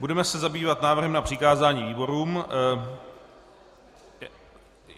Budeme se zabývat návrhem na přikázání výborům.